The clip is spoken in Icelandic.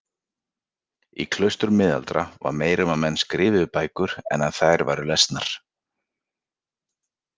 Í klaustrum miðalda var meira um að menn skrifuðu bækur en að þær væru lesnar.